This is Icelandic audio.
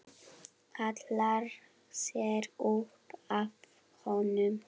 Hallar sér upp að honum.